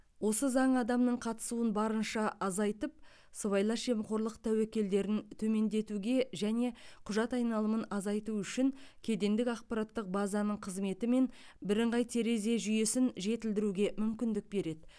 осы заң адамның қатысуын барынша азайтып сыбайлас жемқорлық тәуекелдерін төмендетуге және құжат айналымын азайту үшін кедендік ақпараттық базаның қызметі мен бірыңғай терезе жүйесін жетілдіруге мүмкіндік береді